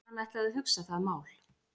Hann ætlaði að hugsa það mál.